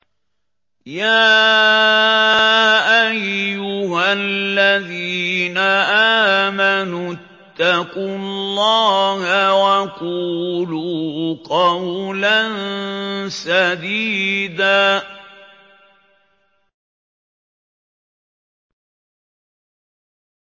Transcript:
يَا أَيُّهَا الَّذِينَ آمَنُوا اتَّقُوا اللَّهَ وَقُولُوا قَوْلًا سَدِيدًا